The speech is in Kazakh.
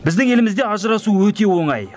біздің елімізде ажырасу өте оңай